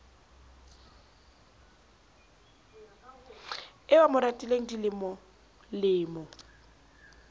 eo a mo ratileng dilemolemo